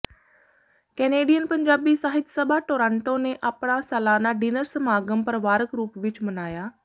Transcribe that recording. Canadian Punjabi Sahit Sabha Toronto ਨੇ ਆਪਣਾ ਸਲਾਨਾ ਡਿਨਰ ਸਮਾਗ਼ਮ ਪਰਿਵਾਰਿਕ ਰੂਪ ਵਿਚ ਮਨਾਇਆ